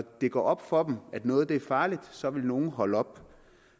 det går op for at noget er farligt så vil nogle holde op